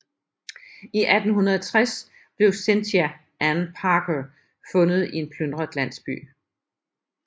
I 1860 blev Cynthia Ann Parker fundet i en plyndret landsby